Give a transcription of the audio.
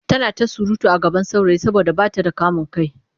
Tana ta surutu a gaban saurayi saboda ba ta da kamin kai.